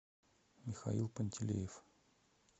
михаил пантелеев